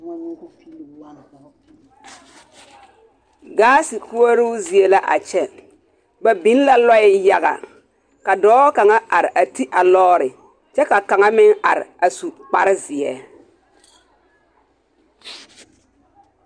Gaase koɔroo zie la a kyɛ ba beŋ lɔɛ yaga ka dɔɔ kaŋa are ti a lɔɔre kyɛ ka kaŋa meŋ are a su kparrezeɛ.